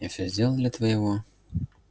я все сделал для твоего